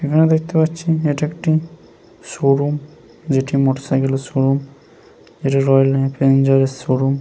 এইখানে দেখতে পাচ্ছি এটা একটি শো রুম যেটি মোটর সাইকেল -এর শো রুম ইটা রয়্যাল এনফিল্ড -এর শো রুম ।